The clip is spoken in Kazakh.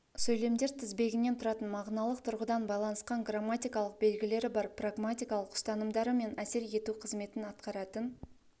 сөйлемдер тізбегінен тұратын мағыналық тұрғыдан байланысқан грамматикалық белгілері бар прагматикалық ұстанымдары мен әсер ету қызметін атқаратын